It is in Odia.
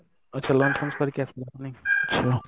ଆଚ୍ଛା lunch ଫଞ୍ଚ ସାରିକି ଆସିଲ ନାଇଁ